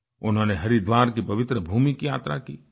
उन्होंने हरिद्वार की पवित्र भूमि की यात्रा की